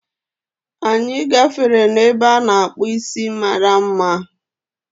Anyị gafere n'ebe a na-akpu isi mara mma